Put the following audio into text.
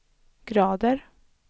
grader